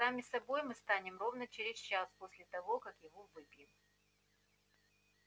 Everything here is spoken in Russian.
сами собой мы станем ровно через час после того как его выпьем